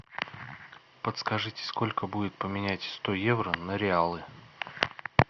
подскажите сколько будет поменять сто евро на реалы